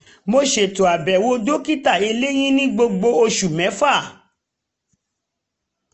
mo ṣètò àbẹ̀wò dokita eléyín ní gbogbo oṣù mẹ́fà